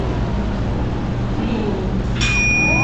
флюру